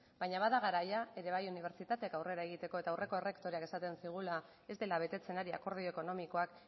baina bada garaia ere bai unibertsitateak aurrera egiteko eta aurreko errektoreak esaten zigula ez dela betetzen ari akordio ekonomikoak